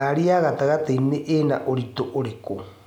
Ngari ya gatagatĩinĩ Ina ũritũ ũrikũ?